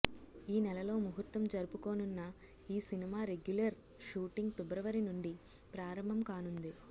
ఈ నెల లో ముహూర్తం జరుపుకోనున్న ఈ సినిమా రెగ్యులర్ షూటింగ్ ఫిబ్రవరి నుండి ప్రారంభం కానుంది